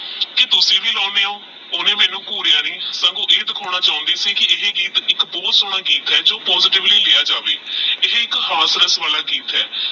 ਤੇਹ ਤੁਸੀਂ ਵੇ ਲੌ ਲਾਉਂਦੇ ਓਹ ਓਹਨੇ ਮੈਨੂ ਘੁਰਯ ਨਹੀ ਸੰਗ ਓਹ ਇਹ ਦਿਖੋਨਾ ਚੁਣਦੀ ਸੀ ਕੀ ਇਹੀ ਗੀਤ ਏਕ ਭੂਤ ਸੋਹਨਾ ਗੀਤ ਆਹ ਜੋ positive ਲੀ ਲੇਯ ਜਾਵੇ ਇਹ ਏਕ ਹਾਸ ਰਾਸ ਵਾਲਾ ਗੀਤ ਆਹ